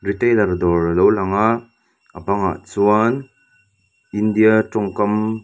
retailer dawr a lo lang a a bangah chuan india tawngkam --